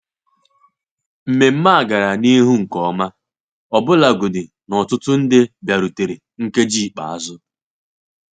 Nmenme a gara n'ihu nke ọma, ọbụlagodi na ọtụtụ ndị bịarutere nkeji ikpeazụ.